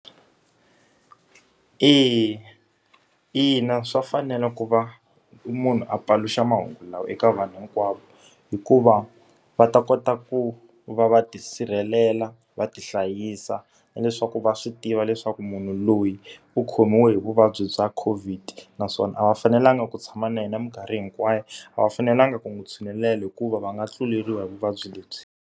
E, ina swa fanele ku va munhu a paluxa mahungu lawa eka vanhu hinkwavo. Hikuva va ta kota ku va va tisirhelela, va ti hlayisa, na leswaku va swi tiva leswaku munhu loyi u khomiwe hi vuvabyi bya COVID. Naswona a va fanelanga ku tshama na yena minkarhi hinkwayo, a va fanelanga ku n'wi tshinelela hikuva va nga tluleriwa hi vuvabyi lebyi.